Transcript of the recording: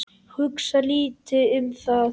Hugsa lítið um það.